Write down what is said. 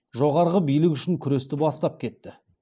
жоғарғы билік үшін күресті бастап кетті